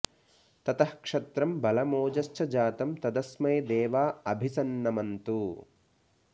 ततः॑ क्ष॒त्रं बल॒मोज॑श्च जा॒तं तद॑स्मै दे॒वा अ॒भि सन्न॑मन्तु